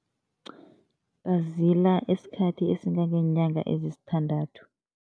Bazila isikhathi esingangeenyanga ezisithandathu.